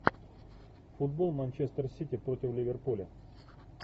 футбол манчестер сити против ливерпуля